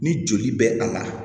Ni joli bɛ a la